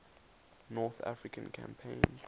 north african campaign